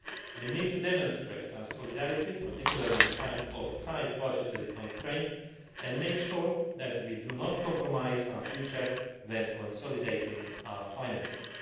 We need to demonstrate our solidarity, particularly in a time of tight budgetary constraints, and make sure that we do not compromise our future when consolidating our finances.